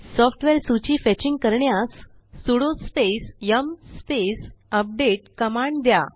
software सूची fetching करण्यास sudo space yum space update command द्या